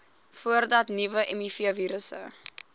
voordat nuwe mivirusse